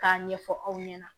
K'a ɲɛfɔ aw ɲɛna